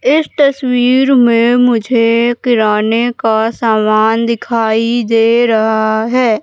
इस तस्वीर में मुझे किराने का सामान दिखाई दे रहा है।